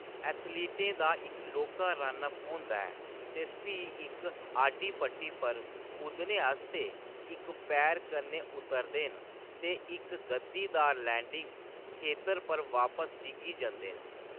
एथलीटें दा इक लौह्‌‌‌का रन अप होंदा ऐ ते फ्ही इक आडी पट्टी पर कुद्दने आस्तै इक पैर कन्नै उतरदे न ते इक गद्दीदार लैंडिंग खेतर पर बापस डिग्गी जंदे न।